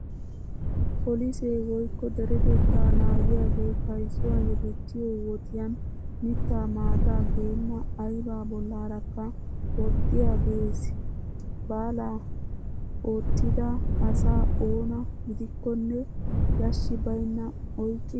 Polisee woykko deretettaa naagiyaagee kaysuwaa yedettiyoo wodiyan mittaa maataa geenna aybaa bollaarakka woxxiyaagges. Balaa oottida asaa oona gidikkonne yashshi baynnan oyqqidi kawuwawu aattees.